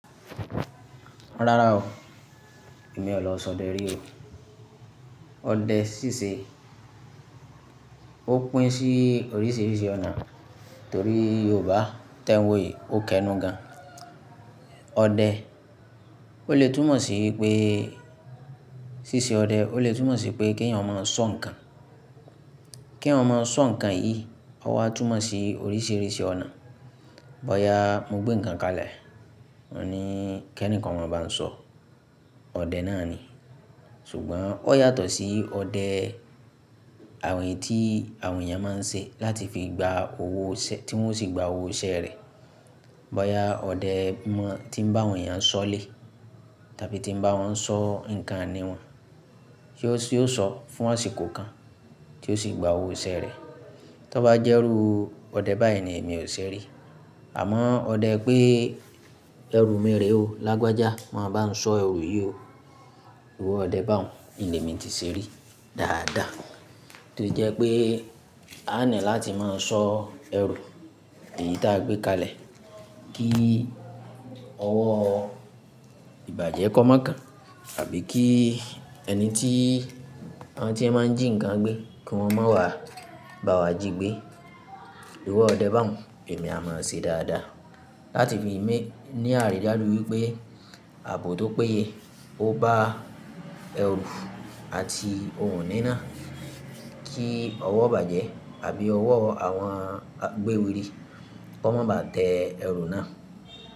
Rárá o, èmi ò lọ sọdẹ rí o. Ọdẹ ṣíṣe ó pín sí oríṣiríṣi ọ̀nà torí Yorùbá tẹ́ n wọ́ yìí ó kẹnu gan. Ọdẹ, ó lè túmọ̀ sí pé ṣíṣe ọdẹ ó lè túmọ̀ sí pé kí ẹ̀yàn máa sọ nǹkan. Kí ẹ̀yàn máa sọ nǹkan yìí, ó wá túmọ̀ sí oríṣiríṣi ọ̀nà. Bọ̀ya mo gbé nǹkan kalẹ̀, mo ní kí ẹni kan máa bá sọ, ọdẹ náà ni. Ṣùgbọ́n ó yàtọ̀ sí ọdẹ àwọn ètí àwọn èèyàn máa ń ṣe láti fi gba owó ṣẹ́-- tí wọ́n sì gba owó iṣẹ́ rẹ̀. Bọ̀ya ọdẹ mọ tí ń bá àwọn èèyàn sọ́lè tàbí tí ń bá wọn sọ́ nǹkan niwọn, tí ó, tí ó sọ fún àsìkò kan tí ó sì gba owó iṣẹ́ rẹ̀. Tọ́ bá jẹ́rú ọdẹ báyìí ni èmi ò ṣe rí. Àmọ́ ọdẹ pé ẹrù mi rè o lágbájá, máa bá sọ ẹrù yìí o, ìwọ ọdẹ bá òun ni èmi ti ṣe rí dáadáa. Torí jẹ́ pé a ní láti máa sọ ẹrù èyí tí a gbé kalẹ̀ kí ọwọ́ ìbàjẹ́ kọ́ má kàn àbí kí ẹni tí àwọn tí ẹ máa ń jí nǹkan gbé kí wọ́n má wá bá wa jí gbé. Ìrọ ọdẹ bá òun èmi a máa ṣe dáadáa láti fi mí ní àrídájú wípé àbò tó péye ó bá ẹrù àti ohun ní náà kí ọwọ́ ìbàjẹ́ àbí ọwọ́ àwọn agbéwèrè kó má ba tẹ ẹrù náà.